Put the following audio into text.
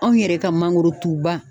Anw yɛrɛ ka mangorotuba